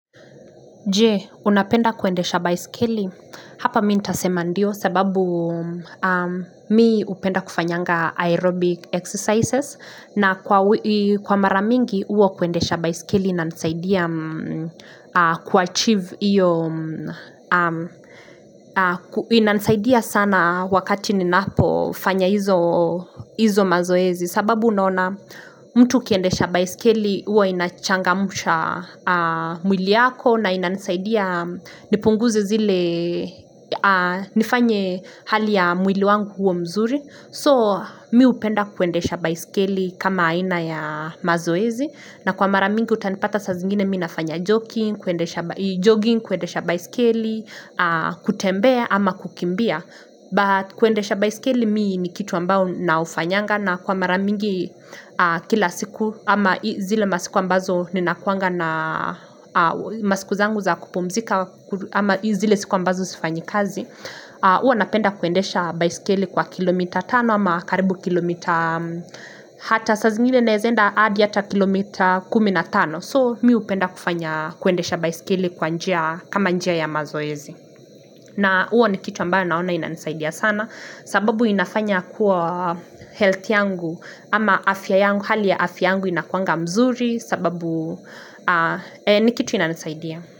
Je, unapenda kuendesha baiskeli? Hapa mi ntasema ndio sababu mi hupenda kufanyanga aerobic exercises na kwa mara mingi huo kuendesha baiskeli inanisaidia ku achieve io inanisaidia sana wakati ninapofanya hizo mazoezi. Sababu naona mtu ukiendesha baisikeli huwa inachangamsha mwili yako na inanisaidia nipunguze zile nifanye hali ya mwili wangu huo mzuri. So mi hupenda kuendesha baisikeli kama aina ya mazoezi. Na kwa mara mingi utanipata saa zingine mi nafanya jogging, kuendesha baisikeli, kutembea ama kukimbia. But kuendesha baisikeli mi ni kitu ambao na ufanyanga na kwa mara mingi kila siku ama zile masiku ambazo ninakuanga na masiku zangu za kupumzika ama zile siku ambazo sifanyi kazi. Huwa napenda kuendesha baisikeli kwa kilomita tano ama karibu kilomita hata saa zingine naezaenda hadi ata kilomita kumi na tano. So mi hupenda kufanya kuendesha baisikeli kwa njia kama njia ya mazoezi. Na huo ni kitu ambayo naona inanisaidia sana sababu inafanya kuwa health yangu ama afya yangu hali ya afya yangu inakuanga mzuri sababu ni kitu inanisaidia.